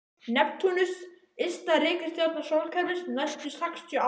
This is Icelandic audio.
Neptúnus ysta reikistjarna sólkerfisins næstu sextíu árin.